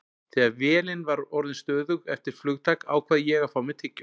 Þegar vélin var orðin stöðug eftir flugtak ákvað ég að fá mér tyggjó.